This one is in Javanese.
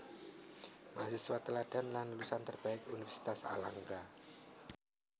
Mahasiswa Teladan lan lulusan terbaik Universitas Airlangga